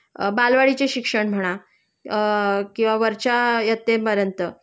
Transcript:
अ बालवाडीचे शिक्षण म्हणा अ किंवा वरच्या इयत्तेपर्यंत